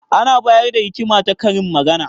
Ana bayar da hikima ta karin magana.